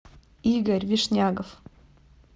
игорь вишнягов